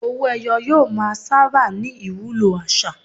Owó-ẹyọ yóò máa sábà ní ìwúlò àṣà.